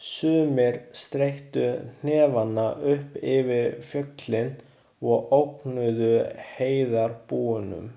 Sumir steyttu hnefana upp yfir fjöllin og ógnuðu heiðarbúunum.